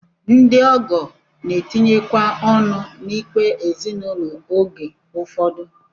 Ndị ọgọ na-etinyekwa ọnụ n'ikpe ezinụlọ oge ụfọdụ